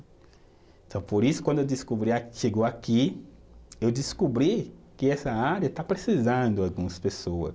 Então, por isso, quando eu descobri a, que chegou aqui, eu descobri que essa área está precisando algumas pessoa